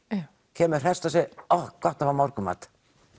kemur hresst og segir ohh gott að fá morgunmat